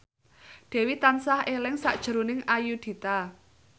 Dewi tansah eling sakjroning Ayudhita